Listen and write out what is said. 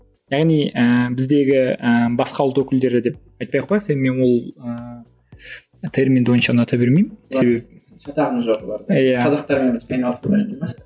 яғни ііі біздегі ііі басқа ұлт өкілдері деп айтпай ақ қояйық себебі мен ол ііі терминді онша ұната бермеймін себебі шатағымыз жоқ оларда